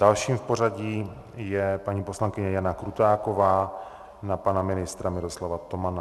Dalším v pořadí je paní poslankyně Jana Krutáková na pana ministra Miroslava Tomana.